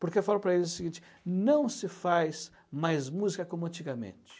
Porque eu falo para eles o seguinte, não se faz mais música como antigamente.